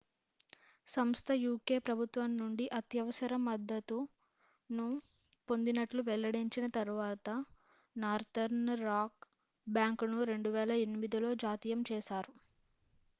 సంస్థ uk ప్రభుత్వం నుండి అత్యవసర మద్దతు ను పొందినట్లు వెల్లడించిన తరువాత నార్తర్న్ రాక్ బ్యాంకును 2008లో జాతీయం చేశారు